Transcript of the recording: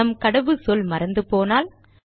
நம் கடவுச்சொல் மறந்து போனால்